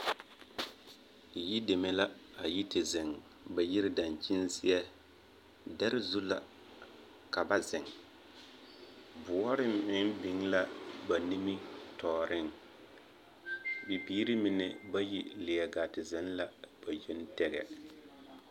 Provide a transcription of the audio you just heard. Yideme la a yi te zeŋ ba yiri dankyini zeɛ. Dɛre zu la ka ba zeŋ. Bɔɔre mine da biŋ la ba nimmitɔɔreŋ. Bibiiri mine bayi leɛ gaa te zeŋ la ba yoŋ tɛgɛ.